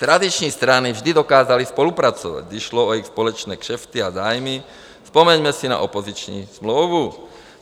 Tradiční strany vždy dokázaly spolupracovat, když šlo o jejich společné kšefty a zájmy, vzpomeňme si na opoziční smlouvu.